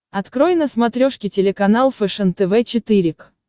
открой на смотрешке телеканал фэшен тв четыре к